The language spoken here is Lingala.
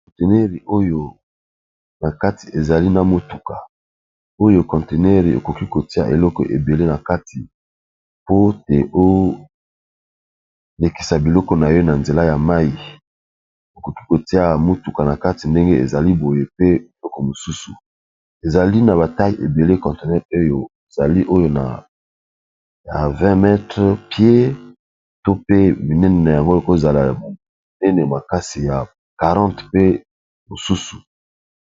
Bilili owo na kati eza mutuka, oyo conteneur okoki kotia biloko ébélé na kati